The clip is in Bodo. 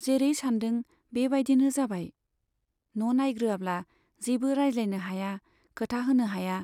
जेरै सानदों बे बाइदिनो जाबाय, न' नाइग्रोआब्ला जेबो रायज्लायनो हाया , खोथा होनो हाया।